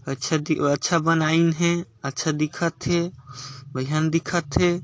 अच्छा दिखा अच्छा बनाइन हे अच्छा दिखा थे अऊ बढ़िया दिखा थे।